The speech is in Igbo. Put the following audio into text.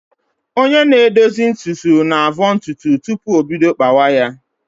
Onye na-edozi ntutu na-avọ ntutu tupu o bido kpawa ya